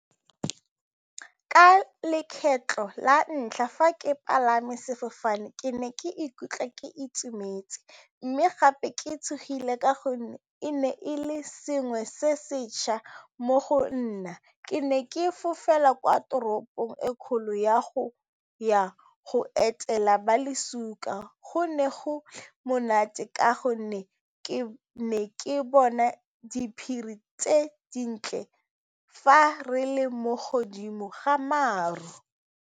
Ka lekgetlho la ntlha fa ke palame sefofane, ke ne ke ikutlwa ke itumetse mme gape ke tshogile ka gonne e ne e le sengwe se sešwa mo go nna ke ne ke fofela kwa toropong e kgolo ya go ya go etela ba go ne go monate ka gonne ke ne ke bona diphiri tse dintle fa re le mo godimo ga maru.